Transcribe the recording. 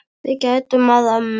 Við gætum að ömmu.